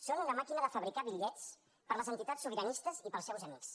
són una màquina de fabricar bitllets per a les entitats sobiranistes i per als seus amics